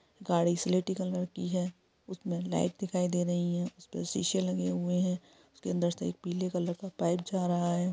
गाड़ी सिलेटी कलर की है उसमें लाइट दिखाई दे रही है उसपे शीशे लगे हुए हैं उसके अंदर से एक पीले कलर का पाइप जा रहा है।